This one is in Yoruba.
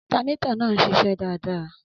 Alternator náà ń ṣiṣẹ́ dáadáa